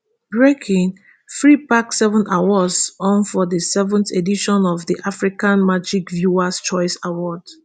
breaking free pack seven awards on for di seventh edition of di africa magic viewers choice awards